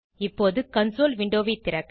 இப்போது கன்சோல் விண்டோவை திறக்க